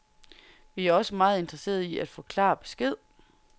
Vi er også meget interesserede i at få klar besked.